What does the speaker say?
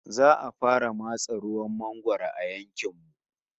Za'a fara matse ruwan mangwaro a yankin mu